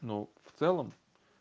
ну в целом